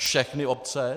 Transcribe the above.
Všechny obce?